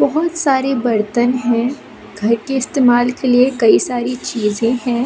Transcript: बहोत सारे बर्तन है घर के इस्तेमाल के लिए कई सारी चीजें हैं।